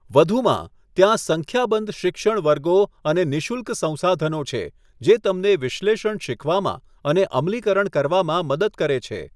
વધુમાં, ત્યાં સંખ્યાબંધ શિક્ષણ વર્ગો અને નિઃશુલ્ક સંસાધનો છે જે તમને વિશ્લેષણ શીખવામાં અને અમલીકરણ કરવામાં મદદ કરે છે.